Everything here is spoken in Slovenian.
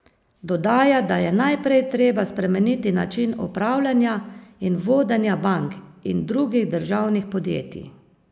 Dodaja, da je najprej treba spremeniti način upravljanja in vodenja bank in drugih državnih podjetij.